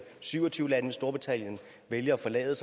syv og tyve lande hvis storbritannien vælger at forlade